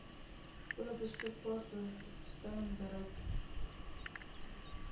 volle beskikbaarstelling bereik